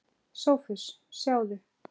SOPHUS: Sjáðu!